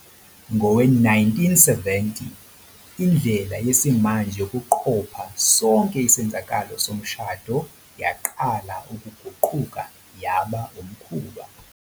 Ngawo-1970, indlela yesimanje yokuqopha yonke isenzakalo somshado yaqala ukuguquka yaba umkhuba